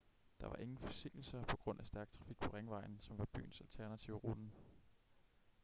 der var ingen forsinkelser på grund af stærk trafik på ringvejen som var byens alternative rute